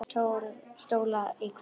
Sex stólar í hverri röð.